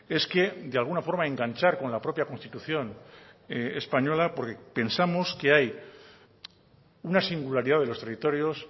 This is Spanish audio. es que de alguna forma enganchar con la propia constitución española porque pensamos que hay una singularidad de los territorios